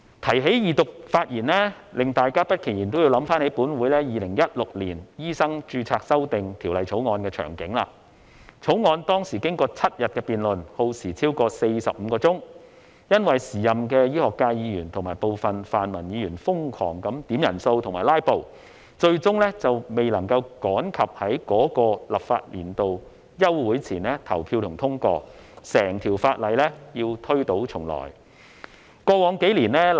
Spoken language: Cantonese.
提到二讀發言，令大家不其然也會想起，本會《2016年醫生註冊條例草案》的場景，該條例草案當時經過7日的辯論，耗時超過45小時，由於時任的醫學界議員及部分泛民議員瘋狂要求點算人數和"拉布"，最終未能趕及在該立法年度休會前投票和通過，整項法案要推倒重來。